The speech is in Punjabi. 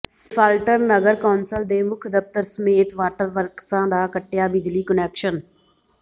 ਡਿਫਾਲਟਰ ਨਗਰ ਕੌ ਾਸਲ ਦੇ ਮੁੱਖ ਦਫ਼ਤਰ ਸਮੇਤ ਵਾਟਰ ਵਰਕਸਾਂ ਦਾ ਕੱਟਿਆ ਬਿਜਲੀ ਕੁਨੈਕਸ਼ਨ